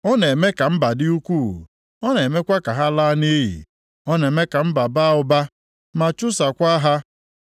Ọ na-eme ka mba dị ukwuu, ọ na-emekwa ka ha laa nʼiyi; Ọ na-eme ka mba baa ụba, ma chụsakwaa ha.